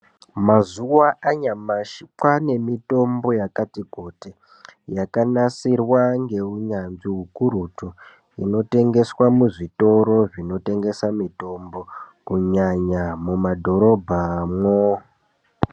Mazuwa anyamashi kwaanemitombo yakati kuti, yakanasirwa ngeunyanzvi ukurutu, inotengeswa muzvitoro zvinotengesa mitombo, kunyanya mumadhorobhamwo.